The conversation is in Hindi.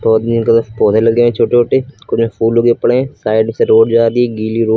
और ग्रीन कलर के पौधे लगे हैं छोटे छोटे। कुछ में फूल उगे पड़े हैं। साइड से रोड जा रही है। गीली रोड --